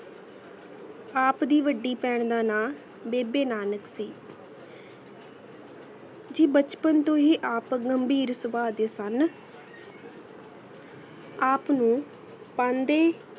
ਆਪ ਦੀ ਵਾਦੀ ਪੈਣ ਦਾ ਨਾਮ ਬੇਬੇ ਨਾਨਕ ਸੀ ਬੇਚ ਪੇੰ ਤੂੰ ਹੇਇ ਆਪ ਘੇਮ ਘੇਨ ਸਵ੍ਬ ਦੇਯਨ ਸੁਨ ਆਪਨੂ ਪੇੰਡੀ